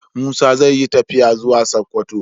Musa zai yi tafiya zuwa sokoto